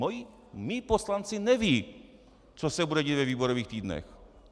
Mí poslanci nevědí, co se bude dít ve výborových týdnech.